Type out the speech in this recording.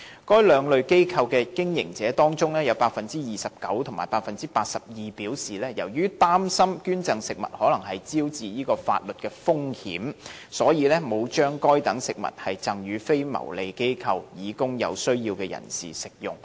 該兩類機構的經營者當中分別有百分之二十九及百分之八十二表示，由於擔心捐贈食物可能招致法律風險，所以沒有把該等食物贈予非牟利機構以供有需要人士食用。